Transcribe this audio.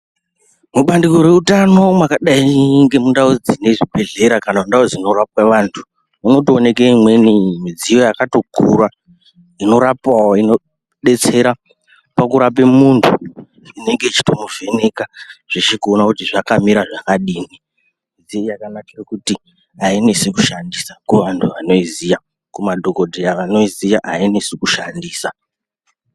Mubandiko reutano mwakadai nemune zvibhedhlera kana kuti ndau dzinorape vantu munotoonekwe imweni midziyo yakatokura inorapawo inodetsera pakurape muntu inenge ichitomuvheneka ichitoona kuti zvakamira zvakadiini, midziyo yakanakire kuti ainetsi kushandisa kuvantu vanoiziva kumadhokodheya anoiziva ainetsi kushandisa.